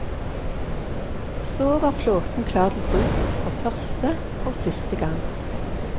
Så var flåten klar til bruk, for første og siste gang.